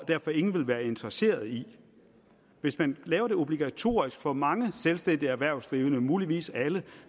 derfor ingen vil være interesseret i hvis man laver en obligatorisk ordning for mange selvstændige erhvervsdrivende muligvis alle